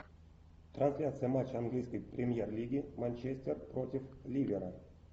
трансляция матча английской премьер лиги манчестер против ливера